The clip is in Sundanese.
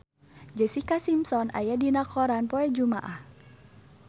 Jessica Simpson aya dina koran poe Jumaah